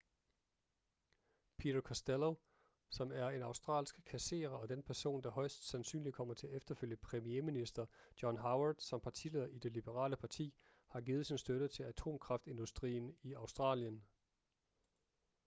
peter costello som er en australsk kasserer og den person der højest sandsynligt kommer til at efterfølge premierminister john howard som partileder i det liberale parti har givet sin støtte til atomkraftindustrien i australien